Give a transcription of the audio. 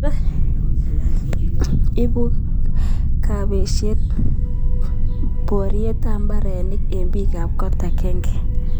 Ipu kapesyet poryet ap mbarenik eng' pik ap kot akenge.